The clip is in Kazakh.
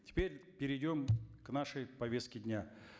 теперь перейдем к нашей повестке дня